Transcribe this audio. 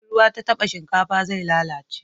In ruwa ta taba shinkafa zai lalace